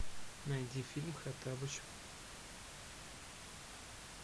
найди фильм хоттабыч